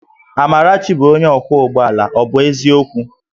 Amarachi bụ onye ọkwọ ụgbọ ala, ọ bụ eziokwu?